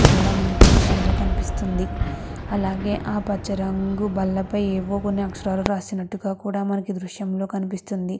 మనకి ఈ దృశ్యం లో కనిపిస్తుంది. అలాగే ఆ పచ రంగు బల్ల పై ఏవో కొన్ని ఆకాశారాళ్ళు రాసినట్టు గ కూడా మనకి దుర్షం పై కనిపిస్తునది.